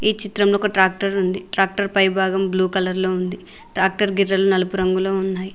ఈ చిత్రంలో ఒక ట్రాక్టర్ ఉంది ట్రాక్టర్ పైభాగం బ్లూ కలర్ లో ఉంది ట్రాక్టర్ గిర్రలు నలుపు రంగులో ఉన్నాయ్.